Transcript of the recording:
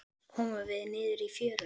Loks komum við niður í fjöruna.